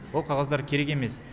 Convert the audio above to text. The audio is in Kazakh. ол қағаздар керек емес